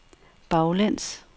baglæns